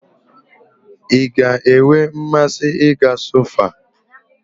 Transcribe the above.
I ga-enwe mmasị ị ga sọfoa